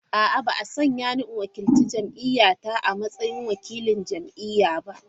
A’a, ba a sanya ni in wakilci jam’iyya ta a matsayin wakilin jam’iyya ba.